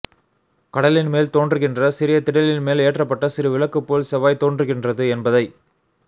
கடலின் மேல் தோன்றுகின்ற சிறிய திடலின் மேல் ஏற்றப்பட்ட சிறு விளக்குப் போல் செவ்வாய் தோன்றுகின்றது என்பதை